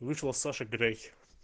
вышла саша грей